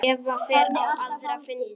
Eva fer á aðra fundi.